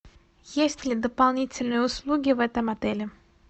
есть ли дополнительные услуги в этом отеле